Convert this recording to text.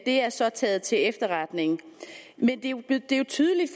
er så taget til efterretning men det er jo tydeligt